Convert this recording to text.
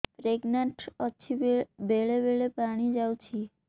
pregnant ଅଛି ବେଳେ ବେଳେ ପାଣି ଯାଉଛି